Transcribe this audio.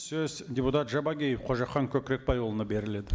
сөз депутат жабағиев қожахан көкірекбайұлына беріледі